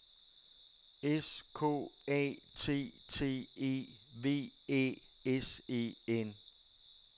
S K A T T E V Æ S E N